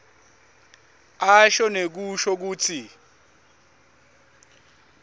asho nekusho kutsi